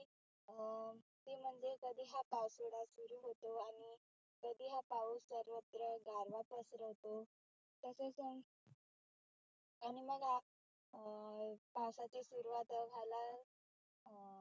अं ती म्हणजे कधी हा पावसाळा सुरु होतो आणि कधी हा पाऊस सर्वत्र गारवा पसरवतो. तसेच आणि मग आप अं पावसाची सुरुवात व्हायला अं